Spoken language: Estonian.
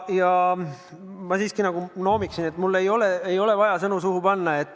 Ja ma siiski noomiksin, et mulle ei ole vaja sõnu suhu panna.